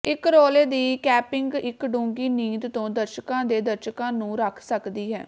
ਇਕ ਰੌਲੇ ਦੀ ਕੈਂਪਿੰਗ ਇੱਕ ਡੂੰਘੀ ਨੀਂਦ ਤੋਂ ਦਰਸ਼ਕਾਂ ਦੇ ਦਰਸ਼ਕਾਂ ਨੂੰ ਰੱਖ ਸਕਦੀ ਹੈ